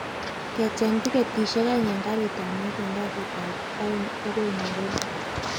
Kecheng' tiketishek aeng' en karit ab maat en kasit ab aeng' agoi nairobi